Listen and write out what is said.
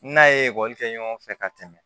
N'a ye ekɔli kɛ ɲɔgɔn fɛ ka tɛmɛ